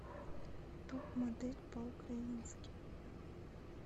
топ модель по украински